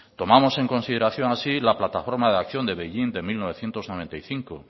tomamos en consideración así la plataforma de acción de beijing de mil novecientos noventa y cinco